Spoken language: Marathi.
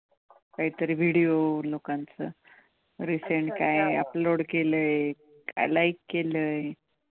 काही तरी video लोकांचा recent काय upload केलय, like केलय.